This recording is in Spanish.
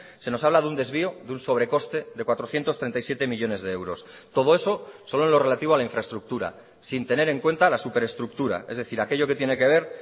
se nos habla de un desvío de un sobrecoste de cuatrocientos treinta y siete millónes de euros todo eso solo en lo relativo a la infraestructura sin tener en cuenta la super estructura es decir aquello que tiene que ver